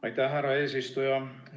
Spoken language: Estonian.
Aitäh, härra eesistuja!